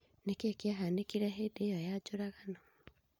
Nĩkĩĩ kĩahanĩkire hĩndĩ ya njũragano?